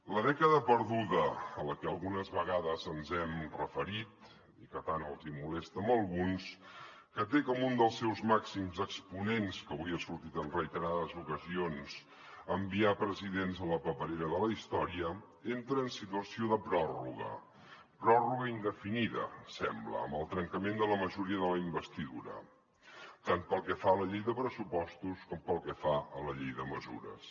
la dècada perduda a la que algunes vegades ens hem referit i que tant els hi molesta a alguns que té com un dels seus màxims exponents que avui ha sortit en reiterades ocasions enviar presidents a la paperera de la història entra en situació de pròrroga pròrroga indefinida sembla amb el trencament de la majoria de la investidura tant pel que fa a la llei de pressupostos com pel que fa a la llei de mesures